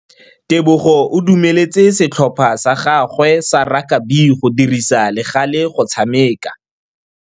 Tebogô o dumeletse setlhopha sa gagwe sa rakabi go dirisa le galê go tshameka.